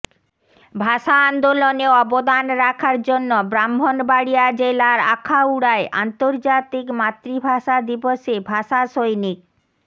ভাষা আন্দোলনে অবদান রাখার জন্য ব্রাহ্মণবাড়িয়া জেলার আখাউড়ায় আন্তর্জাতিক মাতৃভাষা দিবসে ভাষাসৈনিক